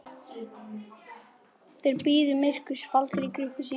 Þeir bíða myrkurs faldir í krukkum sínum.